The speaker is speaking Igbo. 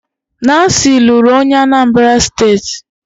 Nancy lụrụ onye Anambra steeti